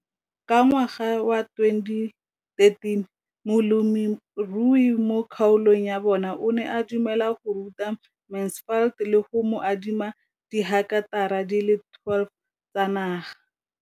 Ka ngwaga wa 2013, molemirui mo kgaolong ya bona o ne a dumela go ruta Mansfield le go mo adima di heketara di le 12 tsa naga.